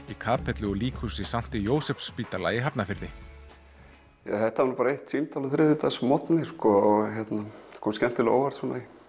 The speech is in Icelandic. í kapellu og líkhúsi sankti Jósefsspítala í Hafnarfirði þetta var nú bara símtal á þriðjudagsmorgni og kom skemmtilega á óvart